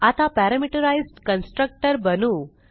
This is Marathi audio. आता पॅरामीटराईज्ड कन्स्ट्रक्टर बनवू